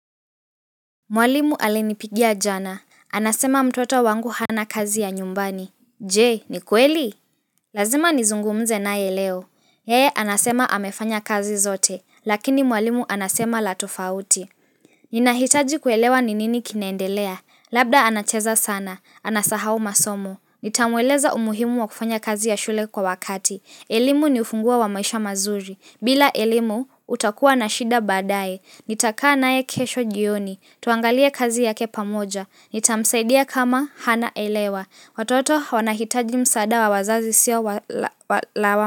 Mwalimu alinipigia jana. Anasema mtoto wangu hana kazi ya nyumbani. Jee, ni kweli? Lazima nizungumze nae leo. Yee, anasema amefanya kazi zote. Lakini mwalimu anasema latofauti. Ninahitaji kuelewa ninini kinaendelea. Labda anacheza sana. Anasahau masomo. Nitamweleza umuhimu wa kufanya kazi ya shule kwa wakati. Elimu ni ufunguo wa maisha mazuri. Bila elimu, utakua na shida badae. Nitaka nae kesho jioni, tuangalie kazi yake pamoja, nitamsaidia kama hana elewa, watoto wanahitaji msada wa wazazi sio la wama.